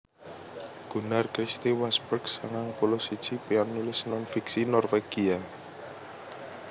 Gunnar Christie Wasberg sangang puluh siji panulis non fiksi Norwégia